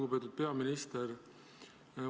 Lugupeetud peaminister!